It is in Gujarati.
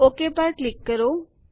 ઓક પર ક્લિક કરો